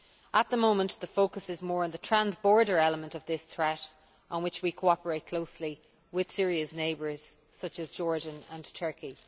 At the moment the focus is more on the trans border element of this threat, on which we cooperate closely with Syria's neighbours such as Jordan and Turkey.